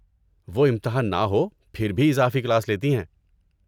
وہ امتحان نہ ہو، پھر بھی اضافی کلاس لیتی ہیں۔